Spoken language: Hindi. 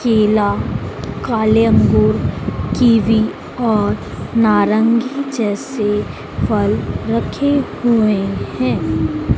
केला काले अंगूर कीवी और नारंगी जैसे फल रखे हुए हैं।